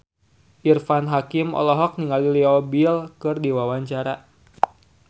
Irfan Hakim olohok ningali Leo Bill keur diwawancara